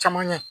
Caman ɲɛ